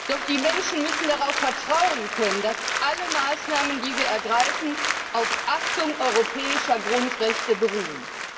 Doch die Menschen müssen darauf vertrauen können, dass alle Maßnahmen, die wir ergreifen, auf Achtung europäischer Grundrechte beruhen.